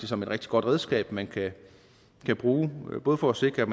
som et rigtig godt redskab man kan bruge både for at sikre at